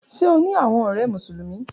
Ṣe o ni awọn ọrẹ Musulumi?